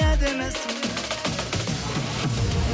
әдемісің